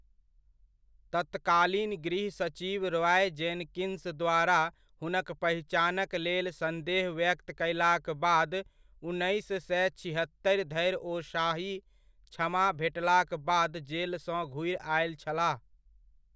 तत्कालीन गृह सचिव रॉय जेनकिंस द्वारा हुनक पहिचानक लेल संदेह व्यक्त कयलाक बाद उन्नैस सए छिहत्तरि धरि ओ शाही क्षमा भेटलाक बाद जेलसँ घुरि आयल छलाह।